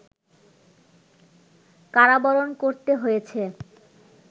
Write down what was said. কারাবরণ করতে হয়েছে